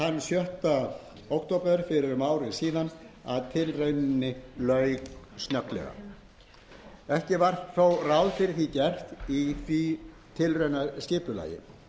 það þann sjötta október síðastliðinn að tilrauninni lauk skyndilega ekki var þó ráð fyrir því gert í tilraunaskipulaginu henni lauk vegna eigin